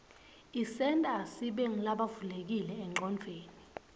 isenta sibe ngulabavulekile enqcondvweni